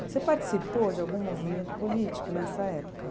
Você participou de algum movimento político nessa época?